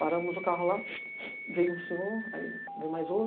Paramos o carro lá, veio um senhor, aí veio mais outro.